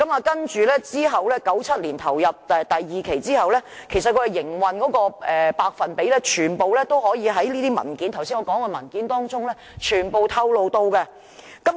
接着 ，1997 年投入第二期運作之後，營運的百分比全部都在我剛才提及的文件中透露了。